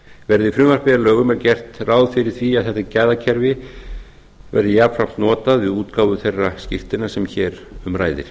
verði frumvarpið að lögum er gert ráð fyrir því að þetta gæðakerfi verði jafnframt notað við útgáfu þeirra skírteina sem hér um ræðir